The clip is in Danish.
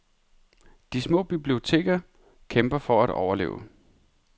De små biblioteker kæmper for at overleve.